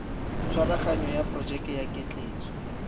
tshwaraganyo ya porojeke ya ketleetso